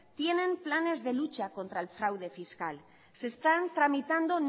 tienen planes de lucha contra el fraude fiscal se están tramitando